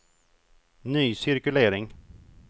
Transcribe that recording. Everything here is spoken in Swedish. ny cirkulering